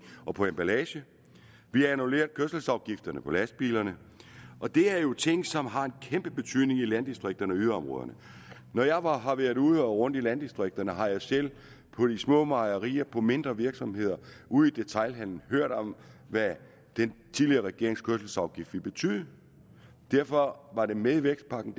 og på emballage vi har annulleret kørselsafgifterne på lastbilerne og det er jo ting som har en kæmpe betydning i landdistrikterne og yderområderne når jeg har har været ude og rundt i landdistrikterne har jeg selv på de små mejerier og på mindre virksomheder og ude i detailhandelen hørt om hvad den tidligere regerings kørselsafgift ville betyde derfor var det med i vækstpakken